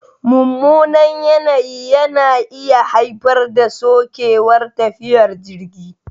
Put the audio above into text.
Mummunan yanayi na iya haifar da sokewar tafiyar jirgi